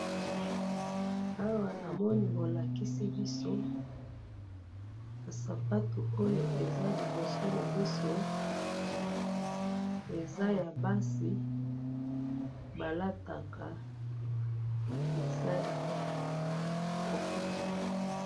Awa namoni bolakisi biso, ba sapato oyo eza liboso na biso eza ya basi balataka, eza